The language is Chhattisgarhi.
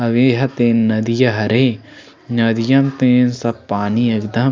हवे ह तेन नदीया हरे नदियों म सब पानी एकदम--